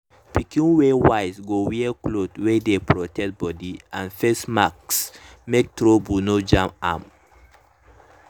pikin wey wise go wear cloth wey dey protect body and face mask make trouble nor jam am.